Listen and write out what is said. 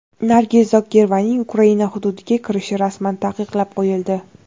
Nargiz Zokirovaning Ukraina hududiga kirishi rasman taqiqlab qo‘yildi.